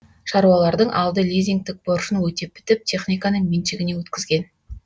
шаруалардың алды лизингтік борышын өтеп бітіп техниканы меншігіне өткізген